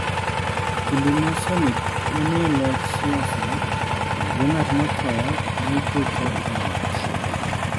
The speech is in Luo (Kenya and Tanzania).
Kinde ma Sernik ne ni e locho siasa, ringre ng'at motho ne iketo e ot.